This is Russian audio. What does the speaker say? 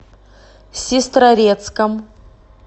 сестрорецком